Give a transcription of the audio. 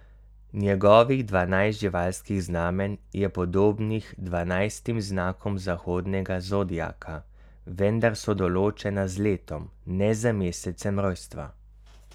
Njegovih dvanajst živalskih znamenj je podobnih dvanajstim znakom zahodnega zodiaka, vendar so določena z letom, ne z mesecem rojstva.